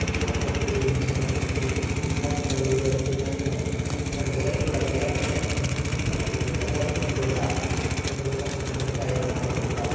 किताबा पड़ी है घनी सार की अठीने बिरे मायने ऊपर बे रखयोड़ा पड़्या सोफा गद्दा ए मोटा मोटा गद्दा इरे मायने रखोड़ा।